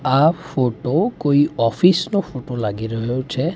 આ ફોટો કોઇ ઓફિસ નો ફોટો લાગી રહ્યો છે.